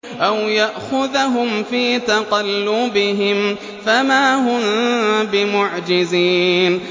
أَوْ يَأْخُذَهُمْ فِي تَقَلُّبِهِمْ فَمَا هُم بِمُعْجِزِينَ